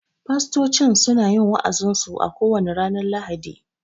Fastocin suna yin wa'azin su a ko wane ranar lahadi